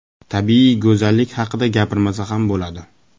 Tabiiy go‘zallik haqida gapirmasa ham bo‘ladi.